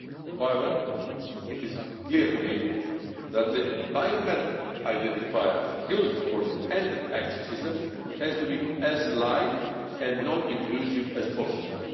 However, it is clear to me that the biometric identifier used for the entry exit system has to be as light and non-intrusive as possible.